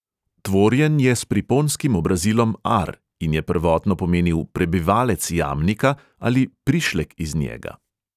Tvorjen je s priponskim obrazilom -ar in je prvotno pomenil 'prebivalec jamnika ali prišlek iz njega.